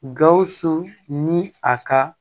Gawusu ni a ka